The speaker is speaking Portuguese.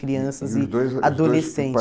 Crianças e adolescentes.